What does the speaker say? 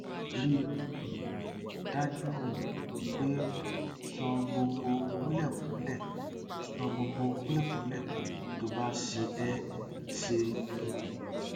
rí i um dájú um pé o sọ gbogbo kúlẹkúlẹ sọ gbogbo kúlẹkúlẹ tó bá ṣe é ṣe um